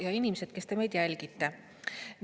Ja inimesed, kes te meid jälgite!